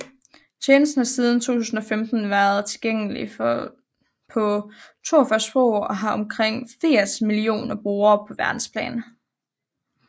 Tjenesten har siden 2015 været tilgængelig på 42 sprog og har omkring 80 millioner brugere på verdensplan